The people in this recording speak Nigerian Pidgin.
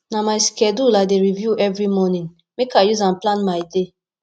na my schedule i dey review every morning make i use am plan my day